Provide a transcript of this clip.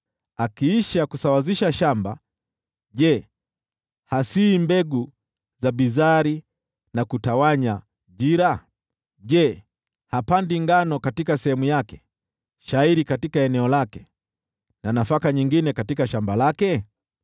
Akiisha kusawazisha shamba, je, hatapanyi mbegu za bizari na kutawanya jira? Je, hapandi ngano katika sehemu yake, shayiri katika eneo lake, na nafaka nyingine katika shamba lake?